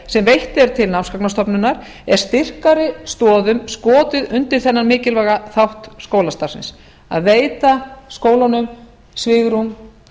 sem veitt er til námsgagnastofnunar er styrkari stoðum skotið undir þennan mikilvæga þátt skólastarfsins að veita skólunum svigrúm